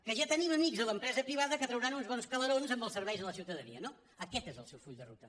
que ja te·nim amics a l’empresa privada que trauran uns bons calerons amb els serveis a la ciutadania no aquest és el seu full de ruta